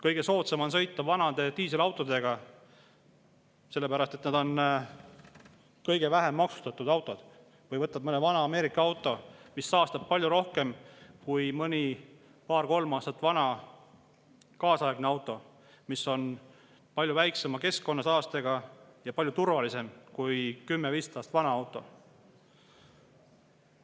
Kõige soodsam on sõita vanade diiselautodega, sellepärast et need on kõige vähem maksustatud autod, või mõne vana Ameerika autoga, mis saastab palju rohkem kui paar-kolm aastat vana kaasaegne auto, mis on palju väiksema keskkonnasaastega ja palju turvalisem kui 10–15 aastat vana auto.